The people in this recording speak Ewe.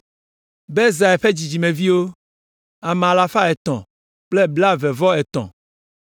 Bezai ƒe dzidzimeviwo, ame alafa etɔ̃ kple blaeve-vɔ-etɔ̃ (323).